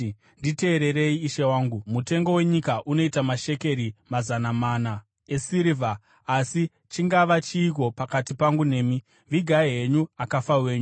“Nditeererei, ishe wangu, mutengo wenyika unoita mashekeri mazana mana esirivha, asi chingava chiiko pakati pangu nemi? Vigai henyu akafa venyu.”